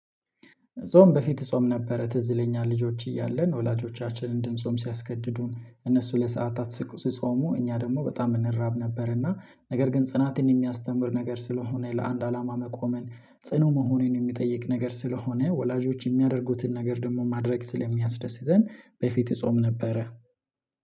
ጾም በፊት እጾም ነበረ ትዝ ይለኛ ልጆች እያለን ወላጆቻችንን እንድንጾም ሲያስገድዱን እነሱ ለሰአታት ሲጾሙ እኛ ደግሞ በጣም እንራብ ነበር እና ነገር ግን ጽናትን የሚያስተምር ነገር ስለሆነ ለአንድ አላማ መቆመን ጽኑ መሆኔን የሚጠይቅ ነገር ስለሆነ ወላጆች የሚያደርጉትን ነገር ደግሞ ማድረግ ስለሚያስደስተን በፊት እጾም ነበረ